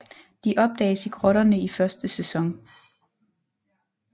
De opdages i grotterne i første sæson